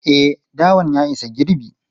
E, dawan ya isa girbi.